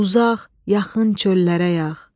Uzaq, yaxın çöllərə yağ.